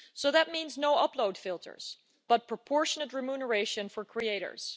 So that means no upload filters, but proportionate remuneration for creators.